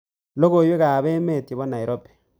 Logoywekab emet chebo nairobi